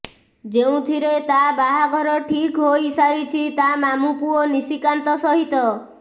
ଯେଉଁଥିରେ ତା ବାହାଘର ଠିକ ହୋଇ ସାରିଛି ତା ମାମୁ ପୁଅ ନିଶିକାନ୍ତ ସହିତ